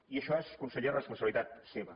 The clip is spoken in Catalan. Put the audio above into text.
i això és conseller responsabilitat seva